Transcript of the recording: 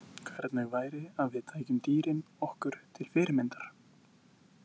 Hvernig væri að við tækjum dýrin okkur til fyrirmyndar?